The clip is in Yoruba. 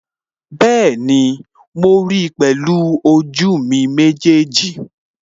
Bẹ́ẹ̀ni, mo ríi pẹ̀lú ojú mi méjèèjì